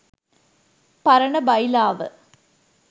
පරණ බයිලාව.